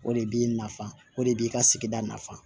O de b'i nafa o de b'i ka sigida nafan